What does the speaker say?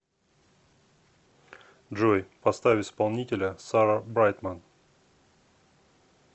джой поставь исполнителя сара брайтман